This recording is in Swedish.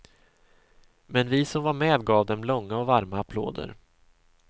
Men vi som var med gav dem långa och varma applåder.